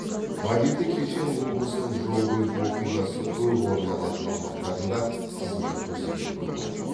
мобильді кешен облыстың жол көлік оқиғасы көп орын алатын аумақтарында қызмет көрсететін болады